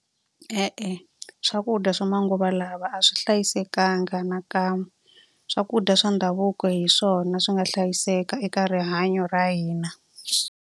E-e swakudya swa manguva lawa a swi hlayisekanga na kan'we. Swakudya swa ndhavuko hi swona swi nga hlayiseka eka rihanyo ra hina.